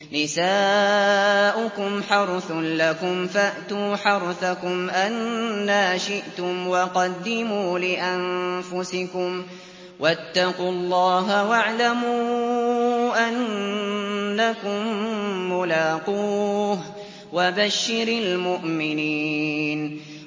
نِسَاؤُكُمْ حَرْثٌ لَّكُمْ فَأْتُوا حَرْثَكُمْ أَنَّىٰ شِئْتُمْ ۖ وَقَدِّمُوا لِأَنفُسِكُمْ ۚ وَاتَّقُوا اللَّهَ وَاعْلَمُوا أَنَّكُم مُّلَاقُوهُ ۗ وَبَشِّرِ الْمُؤْمِنِينَ